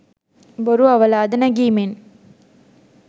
බොරු අවලාද නැගීමෙන්